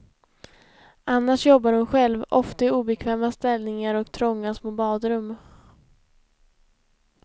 Annars jobbar hon själv, ofta i obekväma ställningar och trånga små badrum.